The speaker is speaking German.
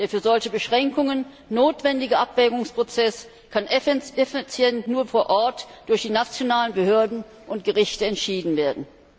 Der für solche Beschränkungen notwendige Abwägungsprozess kann effizient nur vor Ort durch die nationalen Behörden und Gerichte entschieden werden.